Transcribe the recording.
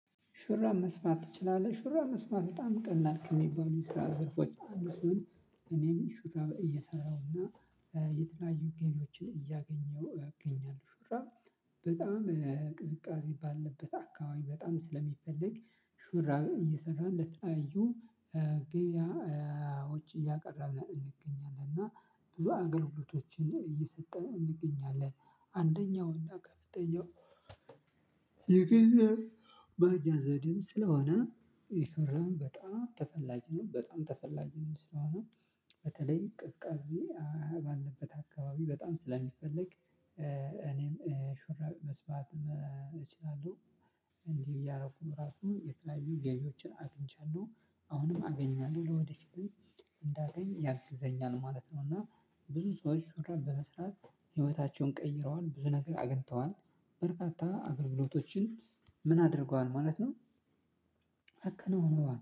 ሹራ መስራት ትችላለህ ሹራ መስራት በጣም ቀላል ከሚባሉት የስራ ዘርፎች አንዱ ሲሆን እኔም ሹራ እየሰራውና የተለያዩ ገቢዎችን እያገኘው እገኛለሁ። ሹራብ በጣም ቅዝቃዜ ባለበት አካባቢ በጣም ስለሚፈለግ ሹራብ እየሰራህ በተለያዩ ገብያ ውጭ እያቀረብን እንገኛለን እና ብዙ አገልግሎቶችን እየሰጠን እንገኛለን። አንደኛው እና ከፍተኛው የገንዘብ ማግኛ ዘዴም ስለሆነ ይህ ሹራብ በጣም ተፈላጊ በጣም ተፈላጊም ስለሆነ በተለይ ቅዝቃዜ ባለበት አካባቢ በጣም ስለሚፈለግ እኔም ሹራብ መስራት እችላለሁ። እንዲህ እያረኩ ራሱ የተለያዩ ገቢዎችን አግኝቻለሁ አሁንም አገኛለሁ ለወደፊትም እንዳገኝ ያግዘኛል ማለት ነው። እና ብዙ ሰዎች ሹራብ በመስራት ህይወታቸውን ቀይረዋል ብዙ ነገር አግኝተዋል። በርካታ አገልግሎቶችን ምን አድርገዋል ማለት ነው? አከናውነዋል